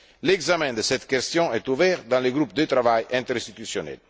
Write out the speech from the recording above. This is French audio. L'examen de cette question est ouvert dans le groupe de travail interinstitutionnel.